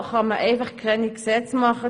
So kann man einfach keine Gesetze machen.